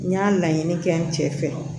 N y'a laɲini kɛ n cɛ fɛ